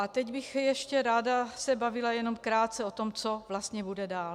A teď bych ještě ráda se bavila jenom krátce o tom, co vlastně bude dál.